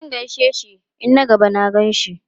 Zan gaishe shi in na gaba na gan shi.